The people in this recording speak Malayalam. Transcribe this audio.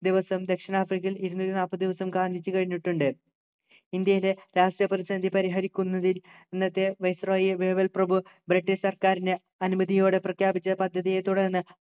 ദിവസം ദക്ഷിണാഫ്രിക്കയിൽ ഇരുന്നൂറ്റിനാല്പതു ദിവസവും ഗാന്ധിജി കഴിഞ്ഞിട്ടുണ്ട് ഇന്ത്യയിലെ രാഷ്ട്രീയ പ്രതിസന്ധി പരിഹരിക്കുന്നതിൽ അന്നത്തെ viceroy വേവൽ പ്രഭു ബ്രിട്ടീഷ് സർക്കാരിൻ്റെ അനുമതിയോടെ പ്രഖ്യാപിച്ച പദ്ധതിയെ തുടർന്ന്